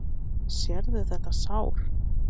Sérðu þetta sár?